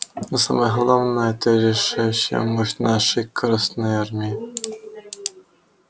но самое главное это решающая мощь нашей красной армии